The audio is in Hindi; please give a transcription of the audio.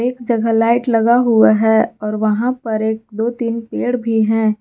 जहाँ लाइट लगा हुआ है और वहां पर एक दो तीन पेड़ भी है।